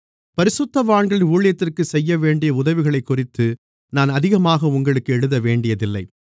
பரிசுத்தவான்களின் ஊழியத்திற்கு செய்யவேண்டிய உதவிகளைக்குறித்து நான் அதிகமாக உங்களுக்கு எழுதவேண்டியதில்லை